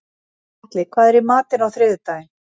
Atli, hvað er í matinn á þriðjudaginn?